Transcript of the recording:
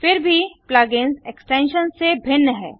फिर भी plug ins extensions से भिन्न है